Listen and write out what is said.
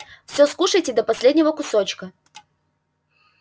всё скушаете до последнего кусочка